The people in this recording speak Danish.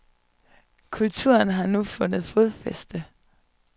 Kulturen har nu fundet fodfæste.